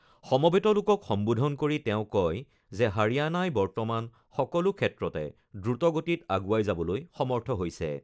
সমবেত লোকক সম্বোধন কৰি তেওঁ কয় যে হাৰিয়ানাই বৰ্তমান সকলো ক্ষেত্ৰতে দ্ৰুত গতিত আগুৱাই যাবলৈ সমৰ্থ হৈছে।